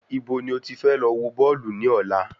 Ibo ni o ti fẹ lọ wọ Bọ́ọ̀lù ní ọ̀la?